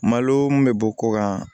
Malo mun bɛ bɔ kɔ kan